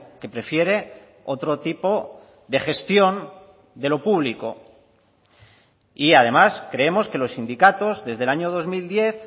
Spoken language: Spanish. que prefiere otro tipo de gestión de lo público y además creemos que los sindicatos desde el año dos mil diez